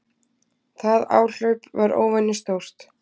Það hlaup var óvenju stórt.